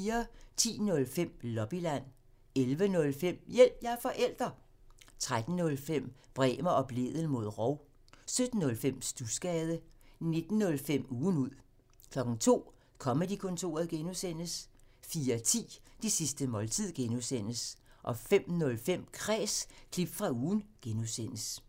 10:05: Lobbyland 11:05: Hjælp – jeg er forælder! 13:05: Bremer og Blædel mod rov 17:05: Studsgade 19:05: Ugen ud 02:00: Comedy-kontoret (G) 04:10: Det sidste måltid (G) 05:05: Kræs – klip fra ugen (G)